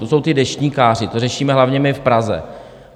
To jsou ti deštníkáři, to řešíme hlavně my v Praze.